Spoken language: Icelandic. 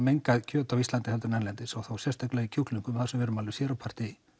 mengað kjöt á Íslandi heldur en erlendis og þá sérstaklega í kjúklingum þar sem við erum alveg sér á parti